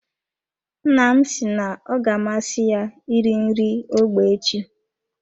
Nna m si na ọ ga amasị ya iri nri ógbè echi.